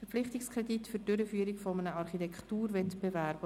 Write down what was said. Verpflichtungskredit für die Durchführung eines Architekturwettbewerbs».